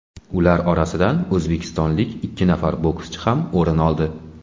Ular orasidan o‘zbekistonlik ikki nafar bokschi ham o‘rin oldi.